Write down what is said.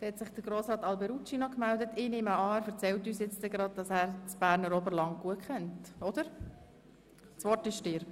Meine Geografiekenntnisse des Oberlands sind nicht schlecht.